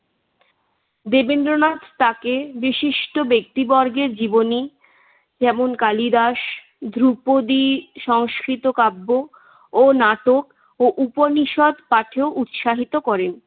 দেবেন্দ্রনাথ তাকে বিশিষ্ট ব্যক্তিবর্গের জীবনী যেমন কালিদাস, দ্রুপদী সংস্কৃত কাব্য ও নাটক ও উপষিদ পাঠেও উৎসাহিত করেন।